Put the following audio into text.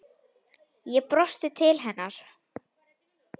Ég brosti til hennar.